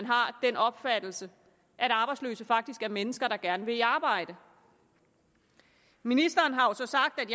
har den opfattelse at arbejdsløse faktisk er mennesker der gerne vil i arbejde ministeren har jo så sagt at